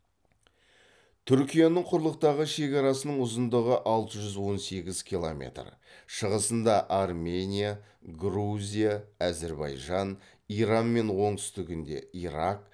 түркияның құрлықтағы шекарасының ұзындығы алты жүз он сегіз километр шығысында армения грузия әзірбайжан иранмен оңтүстігінде ирак